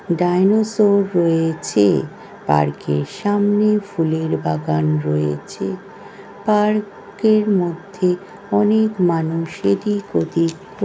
dinosaur রয়ে-ছে park -এর সামনে ফুলের বাগান রয়ে-ছে পা-র্ক -এর মধ্যে অনেক মানুষেরই ক্ষতি প--